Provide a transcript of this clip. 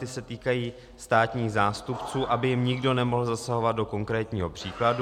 Ty se týkají státních zástupců, aby jim nikdo nemohl zasahovat do konkrétního případu.